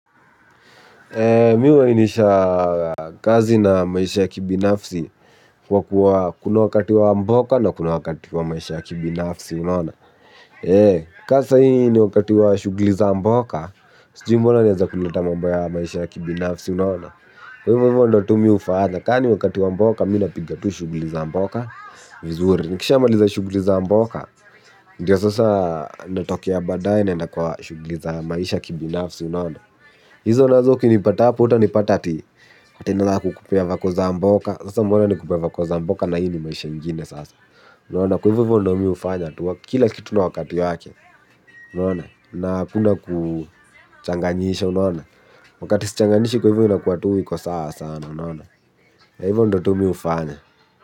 Mi huwainisha kazi na maisha ya kibinafsi kwa kuwa kuna wakati wa mboka na kuna wakati wa maisha ya kibinafsi unaona. Ka sahii ni wakati wa shughuli za mboka, sijui mbona nianze kuleta mambo ya maisha ya kibinafsi unaona kwaivo ivo ndo tu mi hufanya, ka ni wakati wa mboka mi napiga tu shughuli za mboka, vizuri. Nikishamaliza shughuli za mboka, ndio sasa natokea baadae naenda kwa shughuli za maisha ya kibinafsi unaona. Hizo nazo ukinipata hapo, hutanipata ati ati naanza kukupea vako za mboka. Sasa mbona nikukupee vako za mboka na hii ni maisha ingine sasa unaona. Kwa hivyo ndo mi hufanya, kila kitu na wakati yake unaona na hakuna kuchaganyisha unaona wakati sichanganyishi inakuwa tu iko sawa sasa unaona, na ivo ndo tu mi hufanya.